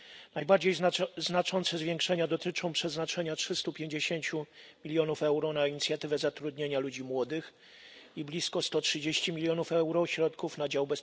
Najbardziej znaczące zwiększenia dotyczą przeznaczenia 350 milionów euro na inicjatywę zatrudnienia ludzi młodych i blisko 130 milionów euro środków na dział